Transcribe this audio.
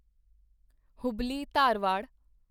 Hubli Dharwad